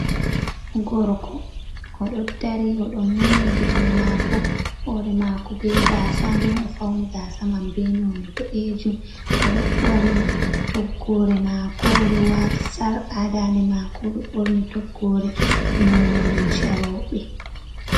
Gorko oɗo dari oɗon mumni giitoi maako, hoore mako be gaasa nden ofauni gaasa man be noone boɗejum. Oɗo ɓorni toggore maako oɗo waati sarka haa dande maako, oɗo ɓorni toggoore noone lumcee rouɓe.